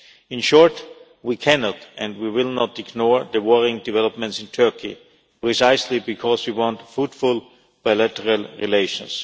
In short, we cannot and we will not ignore the worrying developments in Turkey, precisely because we want fruitful bilateral relations.